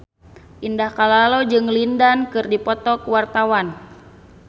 Indah Kalalo jeung Lin Dan keur dipoto ku wartawan